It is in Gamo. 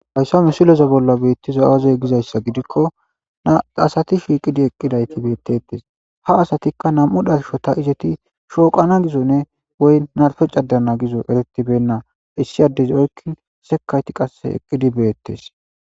Fayssa misuleza bolla beettiza awazey gizayssa gidikko naasati shiiqidi eqqidayti beettettes ha asatikka nam'u dharsho ta izeti shooqana gizo ne woy narpeccadeana gizo eretibenna issi addezi okkin sekayti qase eqqidi beettes.